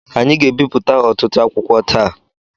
Anyị ga-ebipụta ọtụtụ akwụkwọ taa.